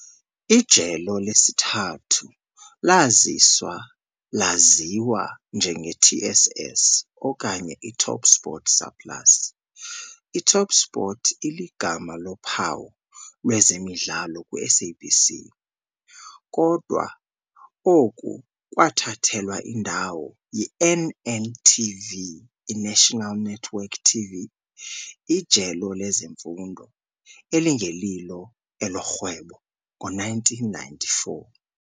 Ijelo lesithathu laziswa laziwa njenge-TSS, okanye iTopSport Surplus, iTopSport iligama lophawu lwezemidlalo kwi-SABC, kodwa oku kwathathelwa indawo yi-NNTV, iNational Network TV, ijelo lezemfundo, elingelilo elorhwebo, ngo-1994.